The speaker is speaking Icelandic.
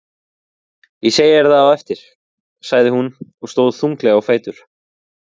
Ég segi þér það á eftir, sagði hún og stóð þunglega á fætur.